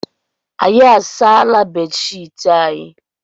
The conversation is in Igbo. Anyị asaala bedshiiti anyị.